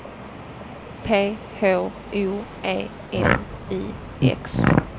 P H O E N I X